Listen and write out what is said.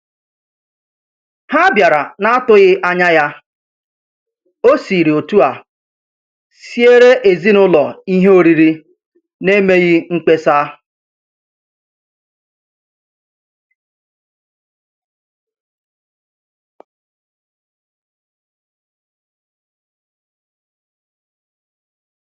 Ha bịara n'atụghị anya ya, ọ siri otu a siere ezinaụlọ ihe oriri n'emeghị mkpesa.